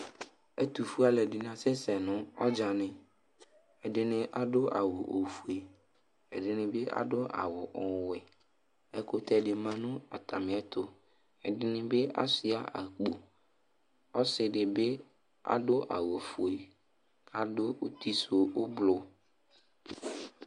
Ɛtufue aluɛdini asɛsɛ nu ɔdzani ɛdini adu awu ofue ɛdini bi adu awu ɔwɛ ɛkutɛ di ma nu atamiɛtu ɛdini asɛya ɛlu ɔsidibi adu awu ofue adu utisu ublui